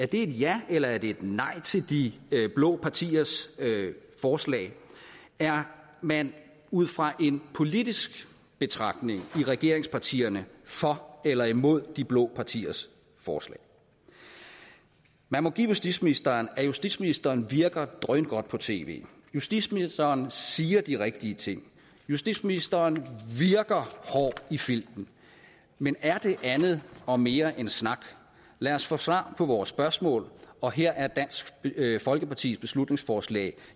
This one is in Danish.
det et ja eller et nej til de blå partiers forslag er man ud fra en politisk betragtning i regeringspartierne for eller imod de blå partiers forslag man må give justitsministeren at justitsministeren virker drøngodt på tv justitsministeren siger de rigtige ting justitsministeren virker hård i flinten men er det andet og mere end snak lad os få svar på vores spørgsmål og her er dansk folkepartis beslutningsforslag